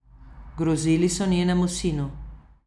Grozili so njenemu sinu.